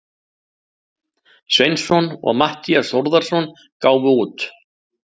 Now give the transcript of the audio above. Sveinsson og Matthías Þórðarson gáfu út.